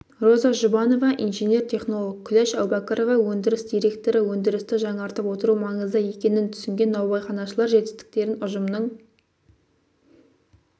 роза жұбанова инженер-технолог күләш әубәкірова өндіріс директоры өндірісті жаңартып отыру маңызды екенін түсінген наубайханашылар жетістіктерін ұжымның